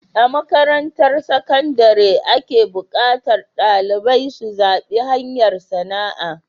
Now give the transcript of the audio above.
A makarantar sakandare ake buƙatar dalibai su zaɓi hanyar sana'a